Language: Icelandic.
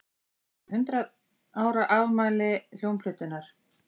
Hundrað ára afmæli hljómplötunnar